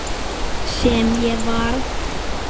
Sem ég varð.